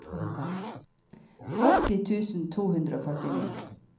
åtti tusen to hundre og førtini